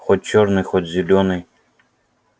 хоть чёрный хоть зелёный